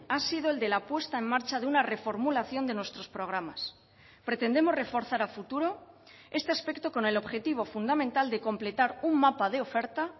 ha sido el de la puesta en marcha de una reformulación de nuestros programas pretendemos reforzar a futuro este aspecto con el objetivo fundamental de completar un mapa de oferta